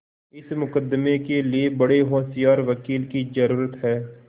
इस मुकदमें के लिए बड़े होशियार वकील की जरुरत है